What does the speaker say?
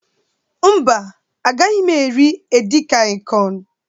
Mba, agaghị m eri edikaịkọn.